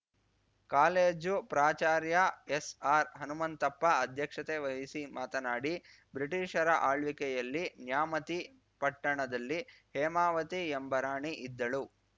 college ಪ್ರಾಚಾರ್ಯ ಎಸ್‌ಆರ್‌ಹನುಮಂತಪ್ಪ ಅಧ್ಯಕ್ಷತೆ ವಹಿಸಿ ಮಾತನಾಡಿ ಬ್ರಿಟೀಷರ ಆಳ್ವಿಕೆಯಲ್ಲಿ ನ್ಯಾಮತಿ ಪಟ್ಟಣದಲ್ಲಿ ಹೇಮಾವತಿ ಎಂಬ ರಾಣಿ ಇದ್ದಳು